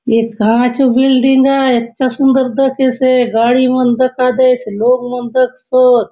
ए कहा चो बिल्डिंग आय अच्छा सुंदर दखेसे गाड़ी मन दखा दयेसे लोक मन दखसोत --